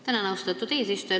Tänan, austatud eesistuja!